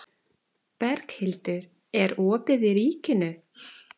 Berghildur, er opið í Ríkinu?